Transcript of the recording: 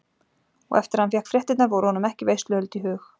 Og eftir að hann fékk fréttirnar voru honum ekki veisluhöld í hug.